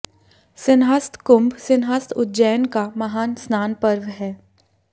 सिंहस्थ कुंभ सिंहस्थ उज्जैन का महान स्नान पर्व है